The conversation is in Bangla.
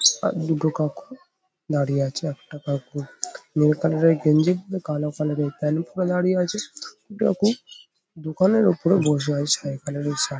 আর দুটো কাকু দাঁড়িয়ে আছে। একটা কাকু নীল কালার -এর গেঙ্গি পরে কালো কালার -এর প্যান্ট পরে দাঁড়িয়ে আছে। কাকু দোকানের ওপরে বসে আছে ছাই কালার -এর শার্ট --